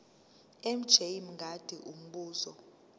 mj mngadi umbuzo